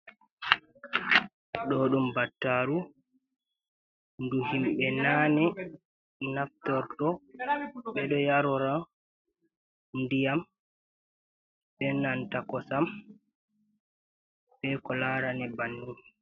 Do ɗum battaru ndu himɓe nane naftordo ɓeɗo yarora ndiyam benanta kosam be ko larani banin.